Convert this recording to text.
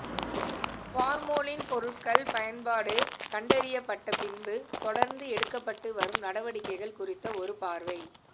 formalin பொருட்கள் பயன்பாடு கண்டறியப்பட்ட பின்பு தொடர்ந்து எடுக்கப்பட்டு வரும் நடவடிக்கைகள் குறித்த ஒரு பார்வை